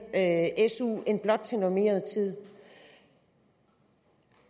su end blot til normeret tid